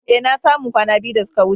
Eh, na samu kwana biyu da suka wuce.